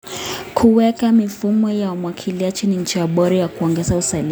Kuweka mifumo ya umwagiliaji ni njia bora ya kuongeza uzalishaji.